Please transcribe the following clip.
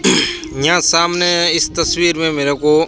यहां सामने इस तस्वीर मे मेरे को--